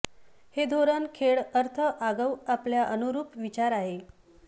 हे धोरण खेळ अर्थ आगाऊ आपल्या यानुरूप विचार आहे